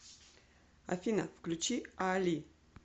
афина включи аали